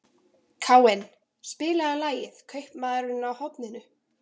Káinn, spilaðu lagið „Kaupmaðurinn á horninu“.